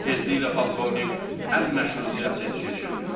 Tezliklə polkovnik ən məşhur siyasətçiyə çevrildi.